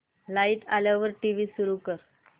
light आल्यावर TV सुरू कर